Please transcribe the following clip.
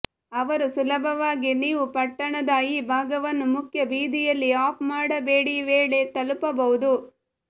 ಅವರು ಸುಲಭವಾಗಿ ನೀವು ಪಟ್ಟಣದ ಈ ಭಾಗವನ್ನು ಮುಖ್ಯ ಬೀದಿಯಲ್ಲಿ ಆಫ್ ಮಾಡಬೇಡಿ ವೇಳೆ ತಲುಪಬಹುದು